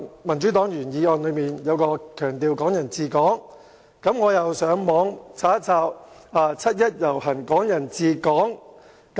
民主黨的原議案強調"港人治港"，於是我便上網搜尋"七一遊行"、"港人治港"等字眼。